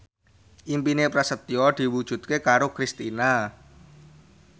impine Prasetyo diwujudke karo Kristina